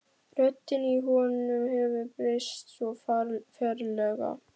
Röddin í honum hefur breyst svo ferlega.